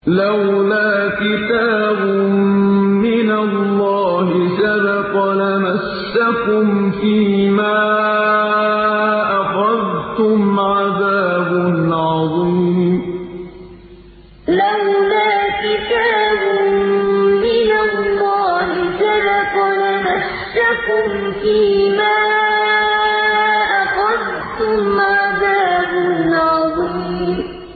لَّوْلَا كِتَابٌ مِّنَ اللَّهِ سَبَقَ لَمَسَّكُمْ فِيمَا أَخَذْتُمْ عَذَابٌ عَظِيمٌ لَّوْلَا كِتَابٌ مِّنَ اللَّهِ سَبَقَ لَمَسَّكُمْ فِيمَا أَخَذْتُمْ عَذَابٌ عَظِيمٌ